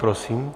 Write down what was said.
Prosím.